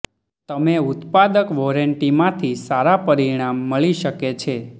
તમે ઉત્પાદક વોરંટી માંથી સારા પરિણામ મળી શકે છે